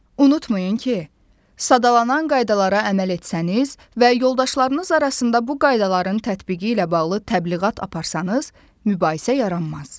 Unutmayın ki, sadalanan qaydalara əməl etsəniz və yoldaşlarınız arasında bu qaydaların tətbiqi ilə bağlı təbliğat aparsanız, mübahisə yaranmaz.